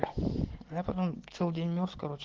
я потом целый день мёрз короче